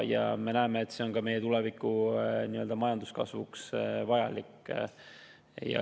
Ja me näeme, et see on ka meie tuleviku majanduskasvuks vajalik.